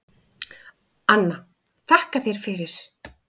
Anna: Þakka þér fyrir.